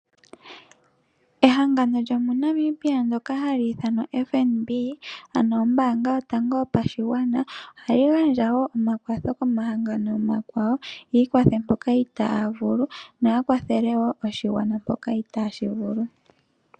Ehangano lyo moNamibia lyoka hali i thanwa oFNB ano ombaanga yotango yopashigwana ohayi gandja woo omakwatho komahangano omakwawo, yiikwathe mpoka itaya vulu, yo ya kwathele woo oshigwana mpoka itaashi vulu.